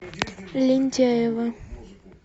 лентяево